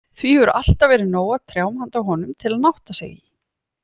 Því hefur alltaf verið nóg af trjám handa honum, til að nátta sig í.